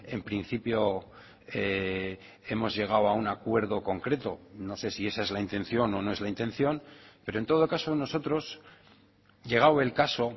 en principio hemos llegado a un acuerdo concreto no sé si esa es la intención o no es la intención pero en todo caso nosotros llegado el caso